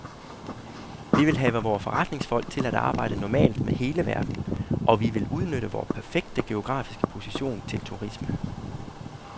Vi vil have vore forretningsfolk til at arbejde normalt med hele verden, og vi vil udnytte vor perfekte geografiske position til turisme.